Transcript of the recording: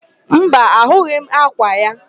Mba, ahụghị m ákwà ya.